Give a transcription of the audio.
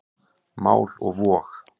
Mál og vog.